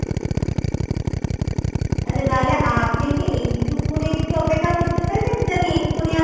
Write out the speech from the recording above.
আচ্ছা তাহলে আপনি কি এইটুকুনি একটু অপেক্ষা করতে পারবেন যে আমি এক্ষুনি আপনাকে